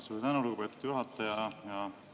Suur tänu, lugupeetud juhataja!